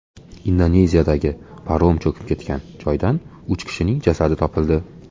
Indoneziyadagi parom cho‘kib ketgan joydan uch kishining jasadi topildi.